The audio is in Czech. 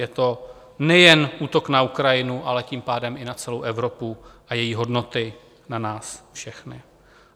Je to nejen útok na Ukrajinu, ale tím pádem i na celou Evropu a její hodnoty na nás všechny.